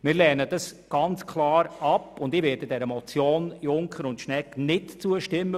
Wir lehnen das ganz klar ab und ich werde der Motion Junker und Schnegg nicht zustimmen.